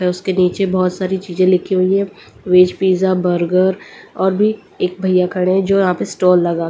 उसके नीचे बहुत सारी चीजें लिखी हुई है वेज पिज़्ज़ा बर्गर और भी एक भैया खड़े हैं जो यहां पे स्टॉल लगा --